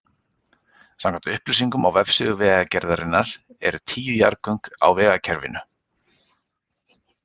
Samkvæmt upplýsingum á vefsíðu Vegagerðarinnar eru tíu jarðgöng á vegakerfinu.